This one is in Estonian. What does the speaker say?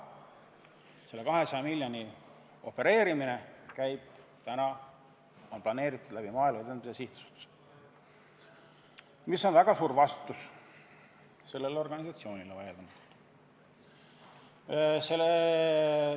Just 200 miljoni opereerimine on planeeritud Maaelu Edendamise Sihtasutuse kaudu ja see tähendab sellele organisatsioonile suurt vastutust.